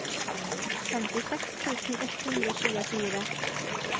femtiseks tusen ett hundre og tjuefire